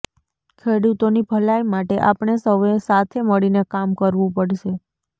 ખેડૂતોની ભલાઈ માટે આપણે સૌએ સાથે મળીને કામ કરવું પડશે